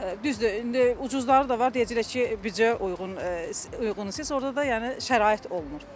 Düzdür, indi ucuzları da var, deyəcəklər ki, büdcəyə uyğun uyğundur, siz orda da yəni şərait olmur.